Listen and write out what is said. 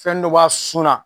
Fɛn dɔ b'a sun na